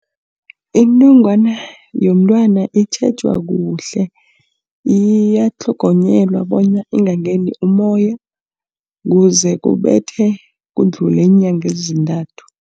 Inongwana yomntwana itjhejwa kuhle, iyatlhogonyelwa bona ingangeni umoya, kuze kudlule iinyanga ezintathu.